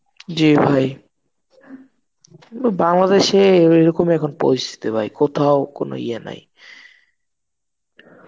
জি ভাই বাংলাদেশে এরকম এখন পরিস্থিতি ভাই কোথাও কোন ইয়ে নেই